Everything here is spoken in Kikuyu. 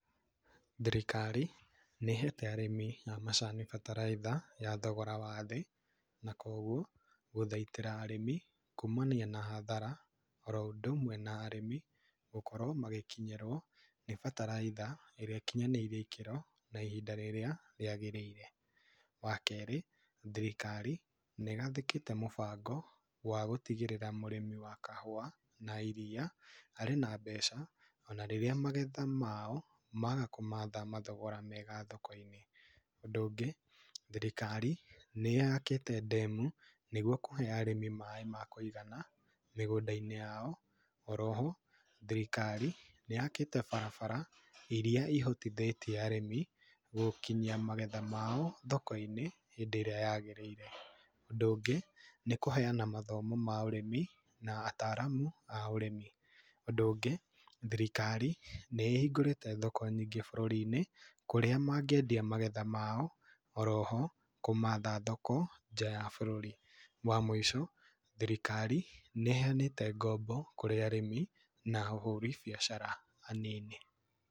Thirikarĩ, nĩhete arĩmi amacani bataraitha ya thogora wa thĩ, na koguo gũthaitĩra arĩmi kũmania na hathara oro ũndũ ũmwe na arĩmi gũkorwo magĩkinyĩrwo nĩ bataraitha ĩrĩa ĩkinyanĩirio ikĩro na ihinda rĩrĩa rĩagĩrĩire. Wa kerĩ, thirikari nĩ gathĩkĩte mũbango wa gũtigĩrĩra mũrimi wa kahũa na iria arĩ na mbeca ona rĩrĩa magetha mao, maga kũmatha mathogora mega thoko-inĩ. Undũ ũngĩ, thirikari nĩyakĩte ndemu nĩguo kũhe arĩmi maĩ ma kũigana mĩgũndainĩ yao. Oroho thirikari nĩyakĩte barabara iria ihotithĩtie arĩmi gũkinyia magetha mao thoko-inĩ hindĩ ĩrĩa yagĩrĩire. Ũndũ ũngĩ, nĩ kũheana mathimo ma ũrĩmi na ataramu a ũrĩmi. Ũndũ ũngĩ, thirikari nĩ ĩhingũrĩte thoko nyingĩ bũrũrinĩ kũrĩa mangĩendia magetha mao oroho kũmatha thoko nja ya bũrũri. Wa mwĩico, thirikari nĩ ĩheanĩte ng'ombo kũrĩ arĩmi na ahũri biacara anini.